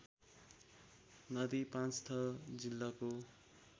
नदी पाँचथर जिल्लाको